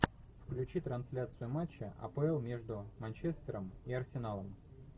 включи трансляцию матча апл между манчестером и арсеналом